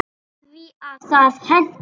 Af því að það hentar.